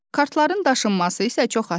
Kartların daşınması isə çox asandır.